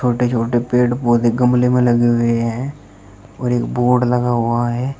छोटे छोटे पेड़ पौधे गमले में लगे हुए हैं और एक बोर्ड लगा हुआ है।